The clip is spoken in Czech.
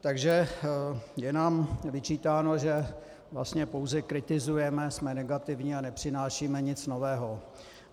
Takže je nám vyčítáno, že vlastně pouze kritizujeme, jsme negativní a nepřinášíme nic nového.